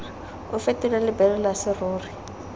o fetole lebelo la serori